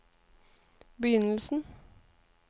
begynnelsen